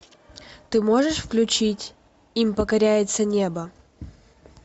ты можешь включить им покоряется небо